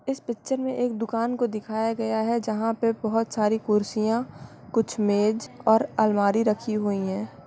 इस पिक्चर मे एक दुकान को दिखाया गया है। जहाँ पे बहुत सारी कुर्सियां कुछ मेज और अलमारी रखी हुई हैं।